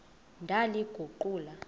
ndaliguqula